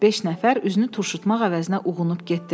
Beş nəfər üzünü turşutmaq əvəzinə uğunub getdilər.